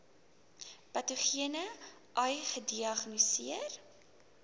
patogene ai gediagnoseer